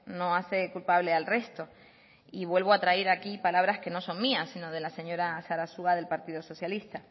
no hace culpable al resto y vuelvo a traer aquí palabras que no son mías sino de la señora sarasua del partido socialista